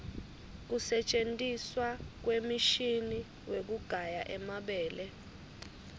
kusentjentiswa kwemishini wekugaya emabele